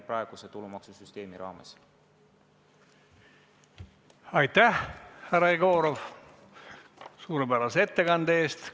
Aitäh, härra Jegorov, suurepärase ettekande eest!